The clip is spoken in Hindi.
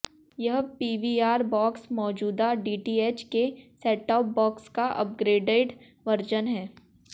यह पीवीआर बॉक्स मौजूदा डीटीएच के सेटटॉप बॉक्स का अपग्रेडेड वर्जन है